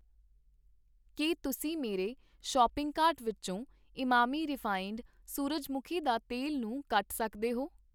ਕੀ ਤੁਸੀਂ ਮੇਰੇ shopping cart ਵਿੱਚੋ ਇਮਾਮੀ ਰਿਫਾਇੰਡ ਸੂਰਜਮੁਖੀ ਦਾ ਤੇਲ ਨੂੰ ਕੱਟ ਸਕਦੇ ਹੋ?